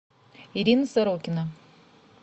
ирина сорокина